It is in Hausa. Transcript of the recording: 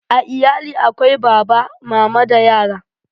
A iyali akwai Baba, Mama da yara